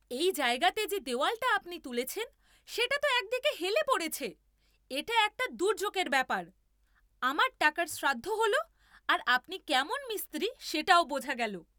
এই জায়গাতে যে দেওয়ালটা আপনি তুলেছেন সেটা তো একদিকে হেলে পড়েছে , এটা একটা দুর্যোগের ব্যাপার, আমার টাকার শ্রাদ্ধ হল আর আপনি কেমন মিস্ত্রী সেটাও বোঝা গেল!